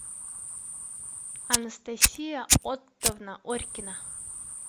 анастасия оттовна орькина